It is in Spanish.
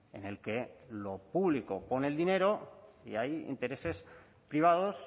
en el que lo público pone el dinero y hay intereses privados